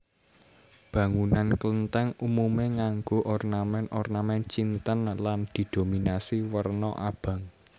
Bangunan Klenthèng umume nganggo ornamen ornamen Cinten lan didominasi werna abang